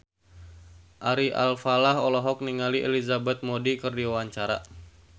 Ari Alfalah olohok ningali Elizabeth Moody keur diwawancara